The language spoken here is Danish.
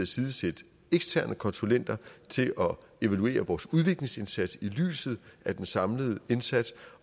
side sætte eksterne konsulenter til at evaluere vores udviklingsindsats i lyset af den samlede indsats